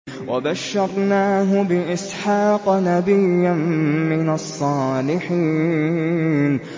وَبَشَّرْنَاهُ بِإِسْحَاقَ نَبِيًّا مِّنَ الصَّالِحِينَ